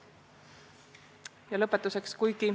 Ja lõpetuseks.